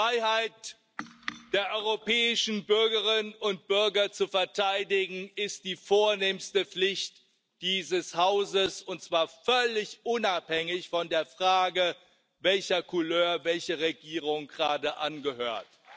Die Freiheit der europäischen Bürgerinnen und Bürger zu verteidigen, ist die vornehmste Pflicht dieses Hauses, und zwar völlig unabhängig von der Frage, welcher Couleur welche Regierung gerade angehört.